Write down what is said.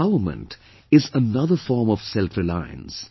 Empowerment is another form of self reliance